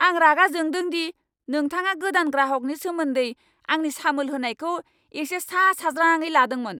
आं रागा जोंदों दि नोंथाङा गोदान ग्राहकनि सोमोन्दै आंनि सामोल होनायखौ एसे सा साज्राङै लादोंमोन।